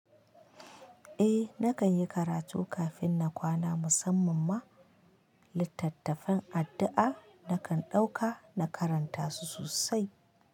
Eh, na kan yi karatu kafin na kwana musamman ma littattafan addu'a, na kan ɗauka na karanta su sosai.